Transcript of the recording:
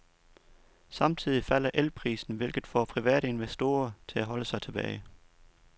Samtidig falder elprisen, hvilket får private investorer til at holde sig tilbage.